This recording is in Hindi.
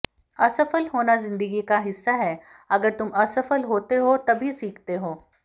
असफल होना जिंदगी का हिस्सा है अगर तुम असफल होते हो तभी सीखते हो